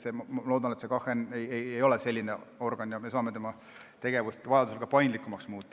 Ma loodan, et KHN ei ole selline organ ja me saame tema tegevust vajaduse korral ka paindlikumaks muuta.